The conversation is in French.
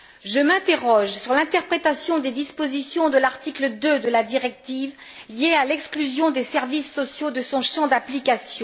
Je m'interroge sur l'interprétation des dispositions de l'article 2 de la directive liées à l'exclusion des services sociaux de son champ d'application.